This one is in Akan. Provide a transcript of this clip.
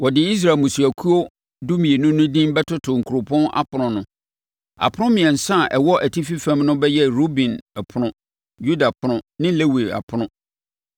wɔde Israel mmusuakuo dumienu no din bɛtoto kuropɔn apono no. Apono mmiɛnsa a ɛwɔ atifi fam no bɛyɛ Ruben ɛpono, Yuda ɛpono ne Lewi ɛpono.